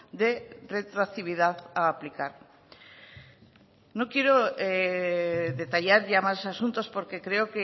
de retroactividad a aplicar no quiero detallar ya más asuntos porque creo